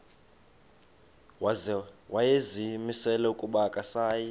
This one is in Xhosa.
wayezimisele ukuba akasayi